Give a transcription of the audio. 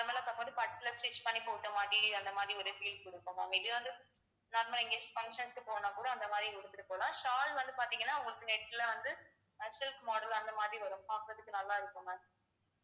normal லா பார்க்கும் போது பட்டுல stitch பண்ணி போட்ட மாதிரி அந்த மாதிரி ஒரு feel கொடுக்கும் ma'am இது வந்து normal ஆ இங்க function க்கு போனாக்கூட அந்த மாதிரி போகலாம் shawl வந்து பார்த்தீங்கன்னா உங்களுக்கு net ல வந்து silk model அந்த மாதிரி வரும் பார்க்குறதுக்கு நல்லா இருக்கும் ma'am